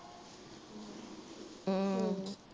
ਹਮ